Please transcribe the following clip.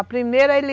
A primeira, ele...